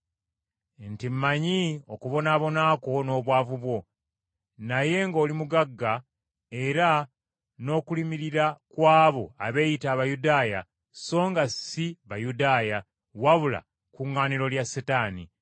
nti mmanyi okubonaabona kwo n’obwavu bwo, naye ng’oli mugagga, era n’okulimirira kw’abo abeeyita Abayudaaya songa ssi Bayudaaya, wabula kuŋŋaaniro lya Setaani.